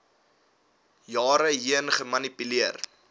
jare heen gemanipuleer